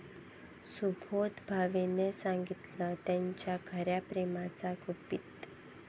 सुबोध भावेनं सांगितलं त्याच्या खऱ्या प्रेमाचं गुपित